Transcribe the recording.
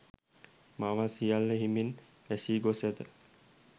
මාවත් සියල්ල හිමෙන් වැසී ගොස් ඇත